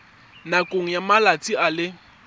nakong ya malatsi a le